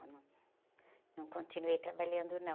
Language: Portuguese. Eu num, não continuei trabalhando, não.